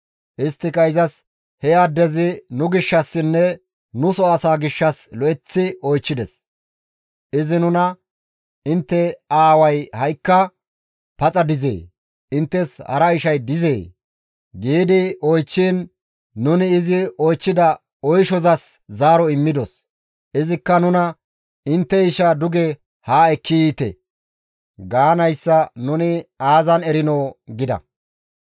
Isttika izas, «He addezi nu gishshassinne nuso asaa gishshas lo7eththi oychchides. Izi nuna, ‹Intte aaway ha7ikka paxa dizee? Inttes hara ishay dizee?› gi oychchiin nuni izi oychchida oyshozas zaaro immidos. Izikka nuna, ‹Intte ishaa duge haa ekki yiite› gaanayssa nuni aazan erinoo?» gida.